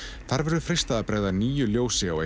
þar verður freistað bregða nýju ljósi á